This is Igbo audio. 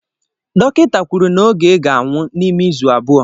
Dọkịta kwuru na Oge ga-anwụ n'ime izu abụọ.